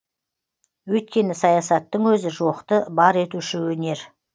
өйткені саясаттың өзі жоқты бар етуші өнер